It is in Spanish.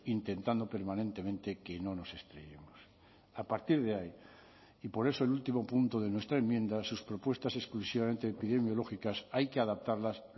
intentando permanentemente que no nos estrellemos a partir de ahí y por eso el último punto de nuestra enmienda sus propuestas exclusivamente epidemiológicas hay que adaptarlas